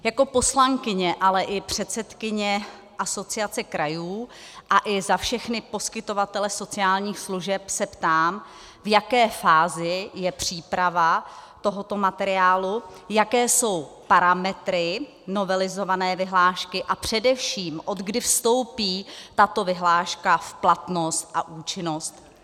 Jako poslankyně, ale i předsedkyně Asociace krajů a i za všechny poskytovatele sociálních služeb se ptám, v jaké fázi je příprava tohoto materiálu, jaké jsou parametry novelizované vyhlášky a především odkdy vstoupí tato vyhláška v platnost a účinnost.